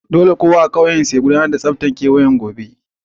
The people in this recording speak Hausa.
Dolle kowa a'ƙauyen su gudanar a tsabtacewan kewayen ƙauyen gobe.